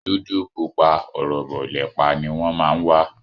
Dúdú, pupa, ọ̀rọ̀bọ̀, lẹ̀pa ni wọ́n má ń wà